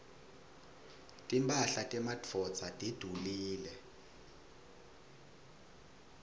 timphahla temadvodza tidulile